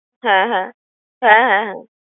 হ্যাঁ হ্যাঁ হ্যাঁ হ্যাঁ হ্যাঁ